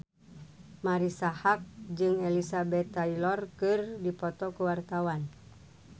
Marisa Haque jeung Elizabeth Taylor keur dipoto ku wartawan